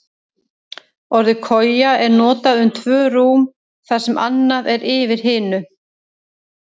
Orðið koja er notað um tvö rúm þar sem annað er yfir hinu.